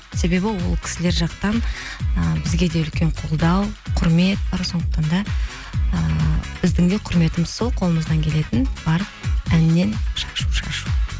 себебі ол кісілер жақтан і бізге де үлкен қолдау құрмет бар сондықтан да ыыы біздің де құрметіміз сол қолымыздан келетін барып әннен шашу шашу